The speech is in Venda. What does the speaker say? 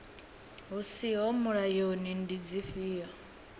hu siho mulayoni ndi dzifhio